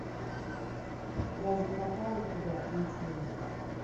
я закопаю тебя включи мне